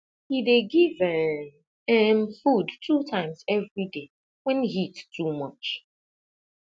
he dey give um um food two times everyday when heat too much